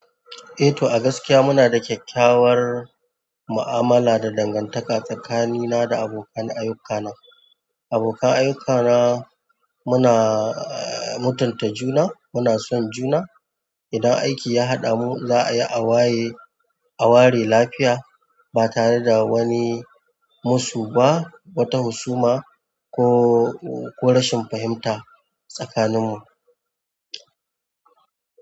Eh to, a gaskiya muna da kyakkyawar mu'amala da dangantaka tsakanina da abokan ayyukana. Abokan ayyukana muna, mutunta juna, muna son juna. Idan aiki ya haɗamu za a yi a waye, a ware lafiya ba tare da wani musu ba, wata husuma ko, ko rashin fahimta tsakaninmu.